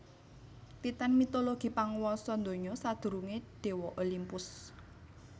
Titan mitologi panguwasa donya sadurungé déwa Olimpus